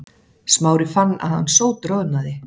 Smári fann að hann sótroðnaði.